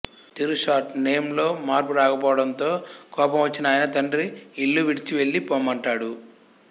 తిరుషార్ట్ name లో మార్పు రాకపోవడంతో కోపం వచ్చిన ఆయన తండ్రి ఇల్లు విడిచివెళ్లిపొమ్మంటాడు